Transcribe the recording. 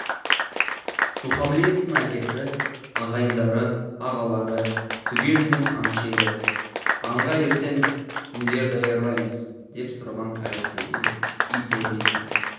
сухомлиновтың әкесі ағайындары ағалары түгелімен аңшы еді аңға ертең нелер даярлаймыз деп сұраған алексейге ит ермесін